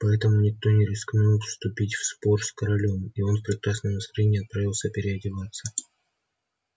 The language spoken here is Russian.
поэтому никто не рискнул вступить в спор с королём и он в прекрасном настроении отправился переодеваться